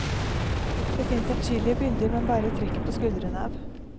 Det fins adskillige bilder man bare trekker på skuldrene av.